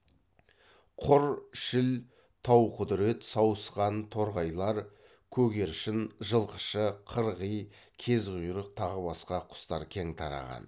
құр шіл тауқұдірет сауысқан торғайлар көгершін жылқышы қырғи кезқұйрық тағы басқа құстар кең тараған